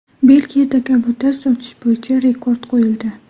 Belgiyada kabutar sotish bo‘yicha rekord qo‘yildi.